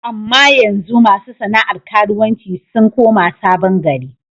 Amma yanzu ma su sana'ar karuwanci sun koma Sabon gari.